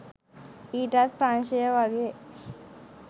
ඊටත් ප්‍රංශය වගේ